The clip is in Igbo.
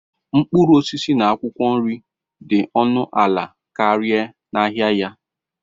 mkpụrụ osisi na akwụkwọ nri dị ọnụ ala karịa n'ahịa ya.